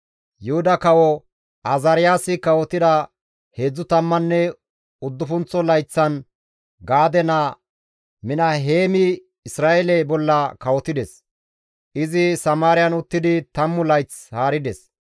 Yuhuda kawo Azaariyaasi kawotida heedzdzu tammanne uddufunththo layththan Gaade naa Minaheemi Isra7eele bolla kawotides; izi Samaariyan uttidi 10 layth haarides.